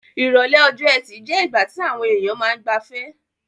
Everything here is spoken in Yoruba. Ìrọ̀lẹ́ ọjọ́-ẹtì je ìgbà ti àwon èyàn ma n gbafẹ́